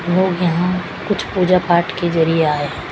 लोग यहां कुछ पूजा पाठ के जरिए आए हैं।